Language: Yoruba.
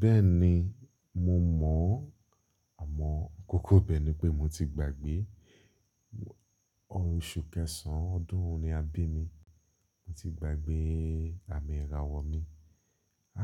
Bẹ́ẹ̀ni, mo mọ̀, àmọ́ kòkò ibẹ́ ni pé mo ti gbàgbé. Oṣù kẹsàn ọdún wo ni a bí mi. Mo ti gbàgbé àmì ìràwọ̀ mi.